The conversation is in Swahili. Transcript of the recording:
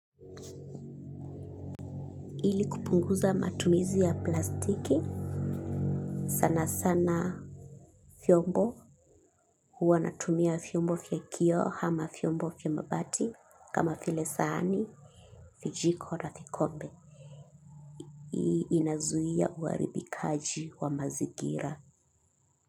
Ili kupunguza matumizi ya plastiki, sana sana vyombo, huwa natumia vyombo vya kioo ama vyombo vya mabati, kama vile sahani, vijiko na vikobe, inazuia huaribikaji wa mazingira.